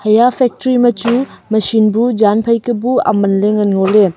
eya factory ma chu machine bu jaan phai ka bu aman le ngan ngole.